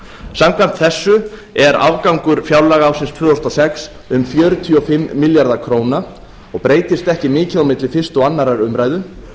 samkvæmt þessu er afgangur fjárlaga ársins tvö þúsund og sex um fjörutíu og fimm milljarðar króna og breytist ekki mikið á milli fyrstu og annarrar umræðu